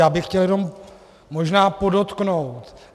Já bych chtěl jenom možná podotknout.